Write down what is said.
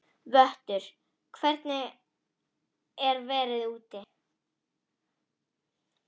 Vöttur, hvernig er veðrið úti?